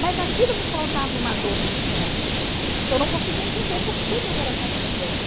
Mas aquilo me causava uma dor muito grande, que eu não conseguia entender por que meu coração estava doendo.